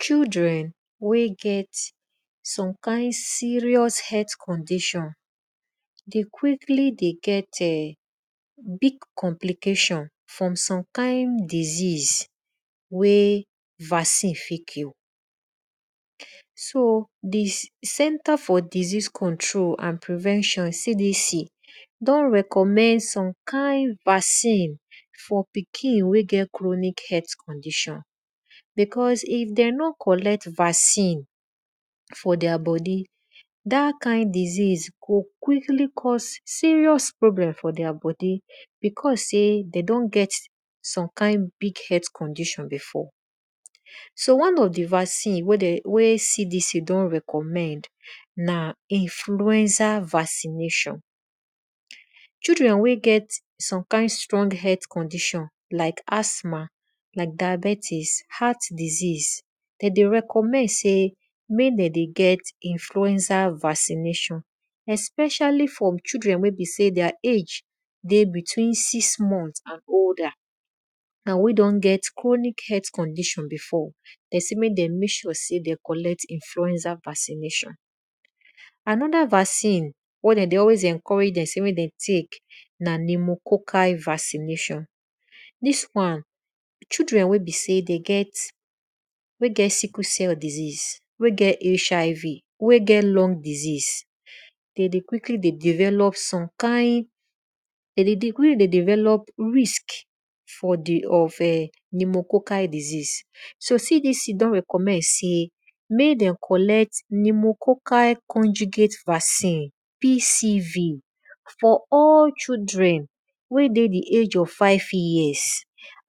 Children wey get some kind serious health condition dey quickly dey get[um]complicatin for some kind disease wey vaccine fit cure. So di center for disease control and prevention CDC don recommend some kind vaccine for pikin wey get chronic health condition because if dem no collect vaccine for their bodi, dat kind disease go quickly cause serious problem for their bodi because sey de don get some kind big health condition before. So one of di vaccine wey CDC don recommend na influencer vaccination. Children wey get some kind strong health condition like asthma, like diabetics, heart diseas de dey recommend sey mek de dey get influencer vaccination especially for children weybe sey their age dey between six month and older wey don get chronic health condition bfor pesin wey den mek sure sey den collect influencer vaccination. Anoda vaccine wen de dey alwys dey encourage dem mek dem tek na pneumococcal vaccination. Dis wan children wey be sey det get wey get sickle cell disease, wey get HIV or wey get lung disesease, de dey quickly dey developdi pneumococcal disease. So CDC don recommend sey mek dem collect pneumococcal conjugate vaccing PCV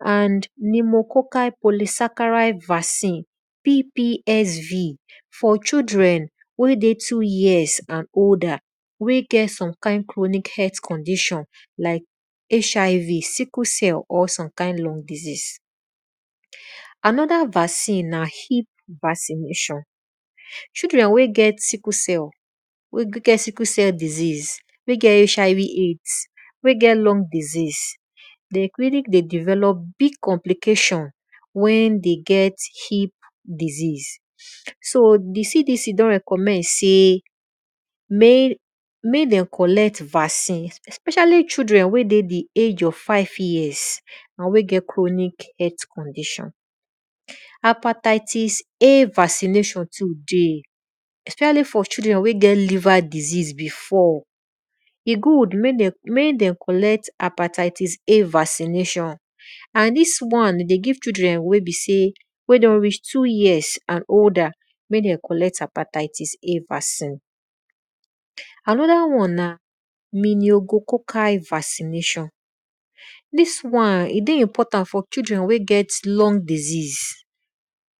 and pneumococcal polysaccharide vaccine PPSV for children wey dey two years and older wey get some kind chronic health condition like HIV sickle cell or some kind lung disease. Anoda vaccine na hip vaccination. Children wey gt sickle celldisease wey get HIV/AIDS wey get lubng disease, de quickly de develop complication wen de get hip disease so CDC don recommend mek dem collect vaccine especially chidren wey dey di age of five years, wey get chromic health condition. Hepatitis A vaccination too dey especially for children wey get liver diseasebefore. E good mek den collect hepatitis A vaccination and dis won dey give children wey be sey wey don reach two years and older mek dem collect hepatitis A vaccination. Anoda won na miniogococcal vaccination, dis wan e dey important for children wey get lung disease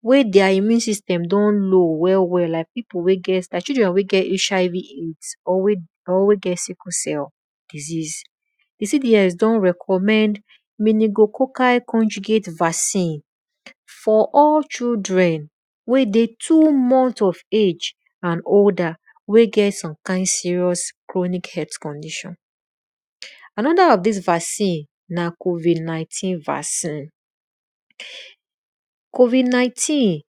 wey their immune system dey low well well like children wey get Hiv AIDS or weyget sickle cell disease. Di cds don recommend minigoccal conjugate vaccine for all children wey dey two month of age and other wey get some kind chromic condition. Noda of dis vaccine na covid19 vaccin. Covid19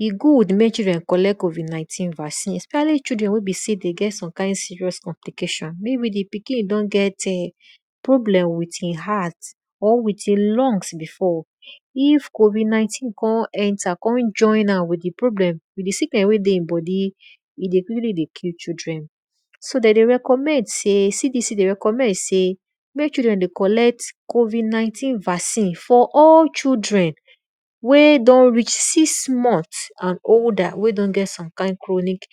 e good mek children collect covid 19 vaccination specially children wey besey de get some kind serious ompliction mean di pikin don get problem with e heart or with e kunbg bbefore if covid 19 kon enter kon join am with di sickness wey de e bodi, e dey quickly dey killy children. So de dey recommend sey mek children dey collect covid 19 vccin for all children wey don reach six month and older wey don get some kid chronic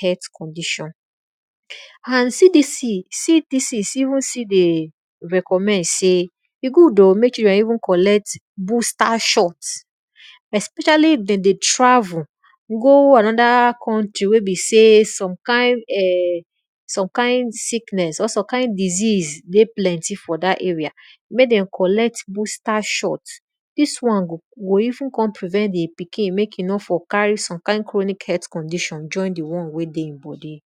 helth condition. And CDC even still recommend sey e good ohmek children even collect booster shot especially if de dey travel go anoda country wen besey some kind sickness pr some kind disease plenty for dat area, mek den collect booster shot, dis won go even kon prevent di pikini mek e no fot carry some kind chroinic health condition join di on wey dey e bodi.